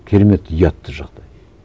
керемет ұятты жағдай